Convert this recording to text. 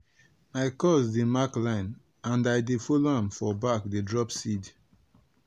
my cuz dey mark line and i dey follow am for back dey drop seed.